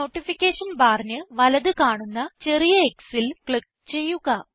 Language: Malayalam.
നോട്ടിഫിക്കേഷൻ ബാറിന് വലത് കാണുന്ന ചെറിയ xൽ ക്ലിക്ക് ചെയ്യുക